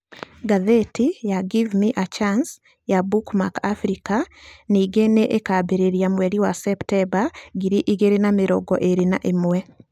Ngathĩti ya "Give me a Chance" ya Bookmark Africa ningĩ nĩ ĩkaambĩrĩria mweri wa Septemba ngiri igĩrĩ na mĩrongo ĩrĩ na ĩmwe.